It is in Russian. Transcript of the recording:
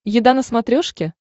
еда на смотрешке